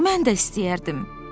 Mən də istəyərdim.